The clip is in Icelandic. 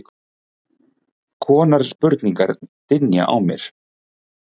konar spurningar dynja á mér.